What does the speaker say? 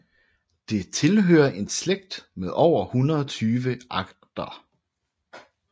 Det tilhører en slægt med over 120 arter